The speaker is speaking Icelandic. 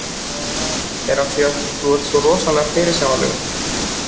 Það er af því hvað þú ert rosalega fyrirsjáanlegur.